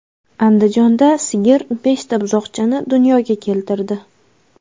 Andijonda sigir beshta buzoqchani dunyoga keltirdi.